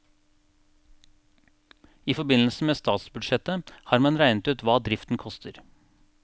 I forbindelse med statsbudsjettet har man regnet ut hva driften koster.